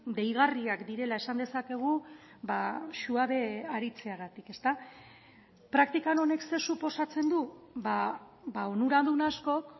deigarriak direla esan dezakegu suabe aritzeagatik praktikan honek zer suposatzen du onuradun askok